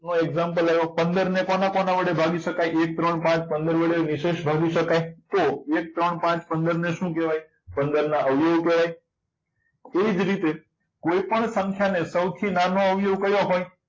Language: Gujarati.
નો example આવ્યો પંદર ને કોના વડે કોના કોના વડે ભાગી શકાય એક ત્રણ પાચ પંદર વડે નિશેષ ભાગી શકાય તો એક ત્રણ પાંચ પંદર ને શું કહેવાય પંદર ના આવ્યો કહેવાય એવી જ રીતે કોઈપણ સંખ્યાને સૌથી નાનો અવયવ કયો હોય